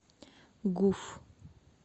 гуф